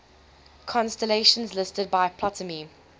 constellations listed by ptolemy